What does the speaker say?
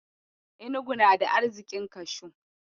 Inugu na da arziƙin kashu.